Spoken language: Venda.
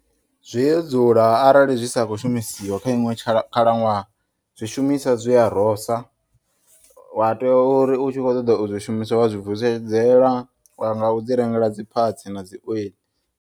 Zwi a dzula arali zwisa kho shumisiwa kha iṅwe khala ṅwaha zwi shumiswa zwiya rosa wateya uri u tshi vho ṱoḓa u zwi shumisa wa zwi vusedzela ngau zwi rengela dzi parts na dzi oil.